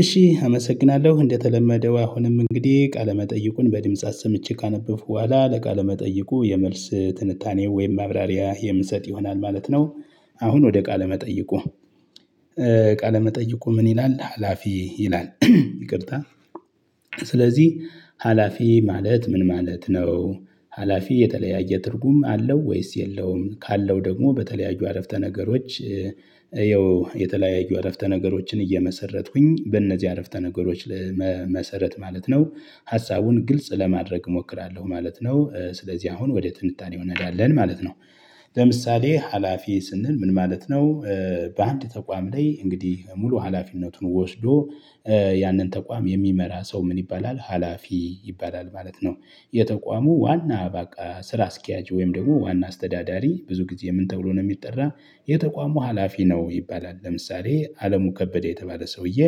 እሺ አመሰግናለሁ እንደተለመደው አሁንም እንግዲህ ቃለመጠይቁን በድምጽ አሰምቼ ካነበብኩ በኋላ ለቃለመጠይቁ የመልስ ትንታኔው ወይም ማብራሪያ የምንሰጥ ይሆናል ማለት ነው። አሁን ወደ ቃለ መጠይቁ ቃለመጠይቁ ምን ይላል? ሀላፊ ይላል ይቅርታ። ስለዚህ ሀላፊ ማለት ምን ማለት ነው? ሀላፊ የተለያየ ትርጉም አለው ወይስ የለውም ካለው ደግሞ በተለያዩ አረፍተ ነገሮች። ይኸው የተለያዩ አረፍተ ነገሮችን እየመሰረትኩኝ በእነዚህ አረፍተ ነገሮች መሰረት ማለት ነው። ሀሳቡን ግልጽ ለማድረግ እሞክራለሁ ማለት ነው። ስለዚህ አሁን ወደ ትንታኔ እንሄዳለን ማለት ነው። ለምሳሌ ሀላፊ ስንል ምን ማለት ነው? በአንድ ተቋም ላይ እንግዲህ ሙሉ ሀላፊነቱን ወስዶ ያንን ተቋም የሚመራ ሰው ምን ይባላል ሀላፊ ይባላል ማለት ነው። የተቋሙ ዋና አበቃ ስራ አስኪያጅ ወይም ደግሞ ዋና አስተዳዳሪ ብዙ ጊዜ ምን ተብሎ ነው የሚጠራ? የተቋሙ ሀላፊ ነው ይባላል ለምሳሌ አለሙ ከበደ የተባለ ሰውዬ።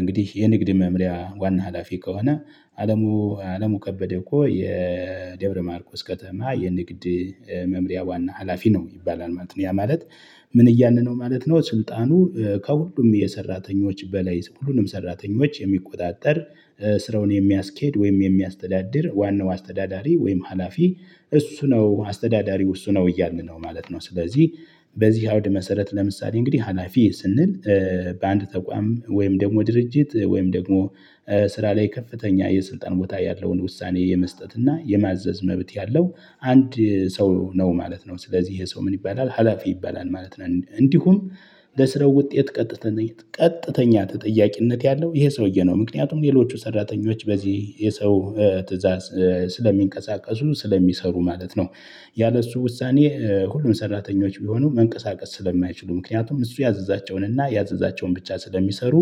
እንግዲህ የንግድ መምሪያ ዋና ሀላፊ ከሆነ። አለሙ አለሙ ከበደ እኮ የደብረ ማርቆስ ከተማ የንግድ መምሪያ ዋና ሀላፊ ነው ይባላል ማለት ነው ያ ማለት። ምን እያልነው ማለት ነው ስልጣኑ ከሁሉም የሰራተኞች በላይ ሁሉንም ሰራተኞች የሚቆጣጠር ስራውን የሚያስኬድ ወይም የሚያስተዳድር ዋናው አስተዳዳሪ ወይም ሀላፊ። እሱ ነው አስተዳዳሪው እሱ ነው እያልን ነው ማለት ነው። ስለዚህ በዚህ አውድ መሰረት ለምሳሌ እንግዲህ ሀላፊ ስንል? በአንድ ተቋም ወይም ደግሞ ድርጅት ወይም ደግሞ ስራ ላይ ከፍተኛ የስልጣን ቦታ ያለውን ውሳኔ የመስጠት እና የማዘዝ መብት ያለው አንድ ሰው ነው ማለት ነው። ስለዚህ ይሄ ሰው ምን ይባላል ሀላፊ ይባላል ማለት ነው። እንዲሁም በስራው ውጤት ቀጥተኛ ቀጥተኛ ተጠያቂነት ያለው ይሄ ሰውዬ ነው ምክንያቱም ሌሎቹ ሰራተኞች በዚህ የሰው ትእዛዝ ስለሚንቀሳቀሱ ስለሚሰሩ ማለት ነው። ያለእሱ ውሳኔ ሁሉም ሰራተኞች ቢሆኑ መንቀሳቀስ ስለማይችሉ ምክንያቱም እሱ ያዘዛቸውን እና ያዘዛቸውን ብቻ ስለሚሰሩ።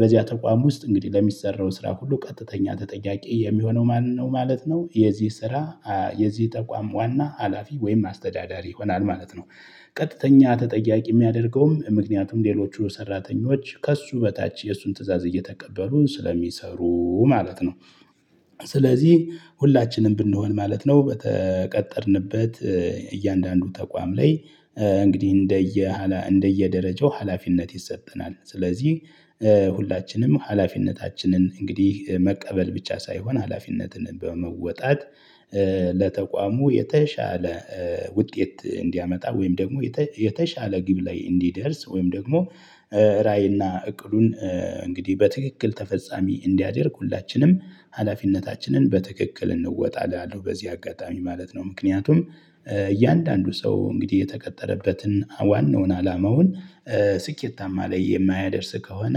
በዚያ ተቋም ውስጥ እንግዲህ ለሚሰራው ስራ ሁሉ ቀጥተኛ ተጠያቂ የሚሆነው ማን ነው ማለት ነው። የዚህ ስራ የዚህ ጠቋም ዋና ሀላፊ ወይም አስተዳዳሪ ይሆናል ማለት ነው። ቀጥተኛ ተጠያቂ የሚያደርገውም ምክንያቱም ሌሎች ሰራተኞች ከእሱ በታች የእሱን ትእዛዝ እየተቀበሉ ስለሚሰሩ ማለት ነው። ስለዚህ ሁላችንም ብንሆን ማለት ነው በተቀጠርንበት እያንዳንዱ ተቋም ላይ እንግዲህ እንደየ እንደየ ደረጃው ሀላፊነት ይሰጠናል ስለዚህ። ሁላችንም ሀላፊነታችንን እንግዲህ መቀበል ብቻ ሳይሆን ሀላፊነትን በመወጣት። ለተቋሙ የተሻለ ውጤት እንዲያመጣ ወይም ደግሞ የተሻለ ግብ ላይ እንዲደርስ ወይም ደግሞ ራዕይና እቅሉን እንግዲህ በትክክል ተፈጻሚ እንዲያደርግ ሁላችንም ሀላፊነታችንን በትክክል እንወጣ እላለሁ። በዚህ አጋጣሚ ማለት ነው ምክንያቱም እያንዳንዱ ሰው እንግዲህ የተቀጠረበትን ዋናውን አላማውን ስኬታማ ላይ የማያደርስ ከሆነ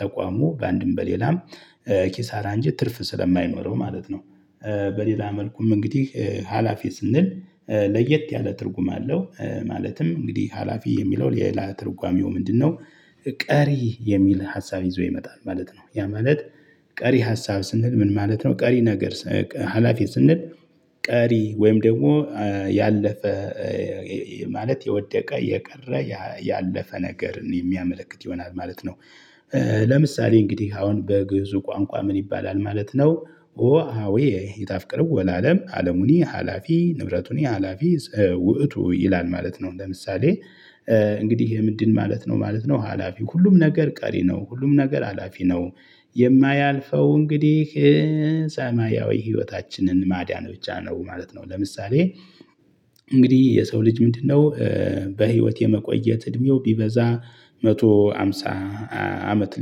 ተቋሙ በአንድም በሌላም ኪሳራ እንጂ ትርፍ ስለማይኖረው ማለት ነው። በሌላ መልኩም እንግዲህ ሀላፊ ስንል? ለየት ያለ ትርጉም አለው ማለትም እንግዲህ ሀላፊ የሚለው የላ ትርጓሜው ምንድነው? ቀሪ የሚል ሀሳብ ይዞ ይመጣል ማለት ነው። ያ ማለት ቀሪ ሀሳብ ስንል ምን ማለት ነው? ቀሪ ነገር ሀላፊ ስንል ቀሪ ወይም ደግሞ ያለፈ ማለት የወደቀ የቀረ ያለፈ ነገርን የሚያመለክት ይሆናል ማለት ነው። ለምሳሌ እንግዲህ አሁን በግእዙ ቋንቋ ምን ይባላል ማለት ነው? ኦ አዎ የጣፍቅርው ወላለም አለሙኒ ሀላፊ ንብረቱኒ ሀላፊ ውእቱ ይላል ማለት ነው። ለምሳሌ። እንግዲህ ይሄ ምንድን ማለት ነው ማለት ነው ሀላፊው ሁሉም ነገር ቀሪ ነው ሁሉም ነገር ሀላፊ ነው። የማያልፈው እንግዲህ ሰማያዊ ህይወታችንን ማዳን ብቻ ነው ማለት ነው። ለምሳሌ እንግዲህ የሰው ልጅ ምንድነው? በህይወት የመቆየት እድሜው ቢበዛ መቶሀምሳ አመት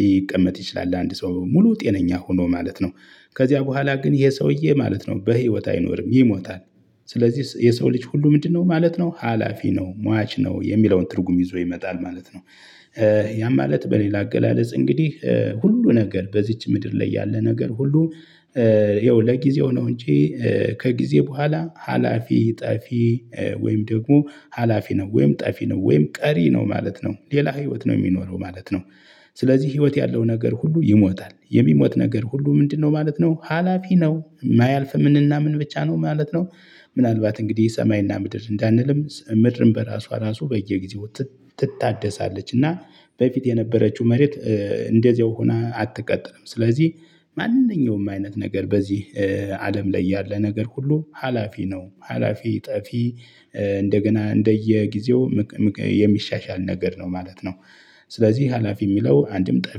ሊቀመጥ ይችላል አንድ ሰው ሙሉ ጤነኛ ሆኖ ማለት ነው ከዚያ በኋላ ግን ይሄ ሰውዬ ማለት ነው በህይወት አይኖርም ይሞታል። ስለዚህ የሰው ልጅ ሁሉ ምንድነው ማለት ነው ሀላፊ ነው ሟች ነው የሚለውን ትርጉም ይዞ ይመጣል ማለት ነው። ያም ማለት በሌላ አገላለጽ እንግዲህ ሁሉ ነገር በዚች ምድር ላይ ያለ ነገር ሁሉ። ይኸው ለጊዜው ነው እንጂ። ከጊዜ በኋላ ሀላፊ ጣፊ ወይም ደግሞ ሀላፊ ነው ወይም ጠፊ ነው ወይም ቀሪ ነው ማለት ነው ሌላ ህይወት ነው የሚኖረው ማለት ነው። ስለዚህ ህይወት ያለው ነገር ሁሉ ይሞታል የሚሞት ነገር ሁሉ ምንድነው ማለት ነው ሀላፊ ነው የማያልፍ ምንና ምን ብቻ ነው ማለት ነው። ምናልባት እንግዲህ ሰማይና ምድር እንዳንልም ምድርም በራሷ ራሱ በየጊዜው ትታደሳለች እና። በፊት የነበረችው መሬት እንደዚሁ ሆና አትቀጥልም። ስለዚህ ማንኛውም አይነት ነገር በዚህ አለም ላይ ያለ ነገር ሁሉ ሀላፊ ነው ሀላፊ ጠፊ። እንደገና እንደየጊዜው የሚሻሻል ነገር ነው ማለት ነው። ስለዚህ ሀላፊ የሚለው አንድም ጠፊ